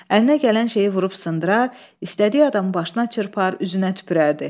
Əlinə gələn şeyi vurub sındırar, istədiyi adamın başına çırpar, üzünə tüpürərdi.